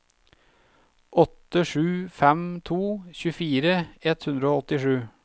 åtte sju fem to tjuefire ett hundre og åttisju